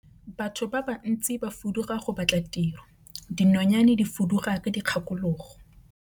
Batho ba bantsi ba fuduga go batla tiro, dinonyane di fuduga ka dikgakologo.